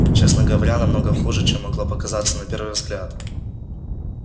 честно говоря намного хуже чем могло показаться на первый взгляд